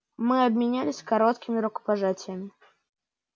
мы обменялись короткими рукопожатиями